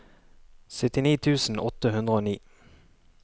syttini tusen åtte hundre og ni